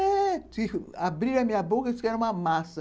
É, diz que abriu a minha boca, diz que era uma massa.